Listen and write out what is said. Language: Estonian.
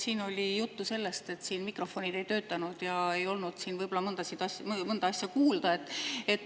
Siin oli juttu sellest, et mikrofonid ei töötanud, ja võib-olla ei olnud mõnda asja kuulda.